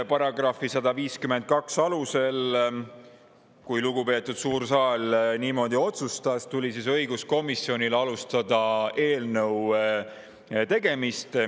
Ja kuna lugupeetud suur saal niimoodi otsustas, tuli õiguskomisjonil alustada § 152 alusel eelnõu tegemist.